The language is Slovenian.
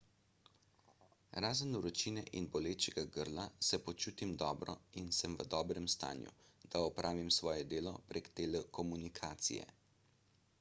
razen vročine in bolečega grla se počutim dobro in sem v dobrem stanju da opravim svoje delo prek telekomunikacije